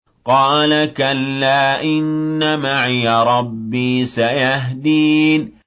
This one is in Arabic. قَالَ كَلَّا ۖ إِنَّ مَعِيَ رَبِّي سَيَهْدِينِ